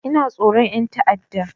Ina tsoron ƴan ta'adda